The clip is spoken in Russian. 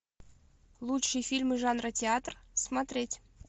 лучшие фильмы жанра театр смотреть